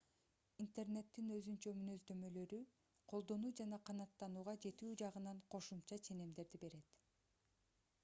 интернеттин өзүнчө мүнөздөмөлөрү колдонуу жана канааттанууга жетүү жагынан кошумча ченемдерди берет